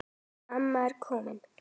Amma ég er komin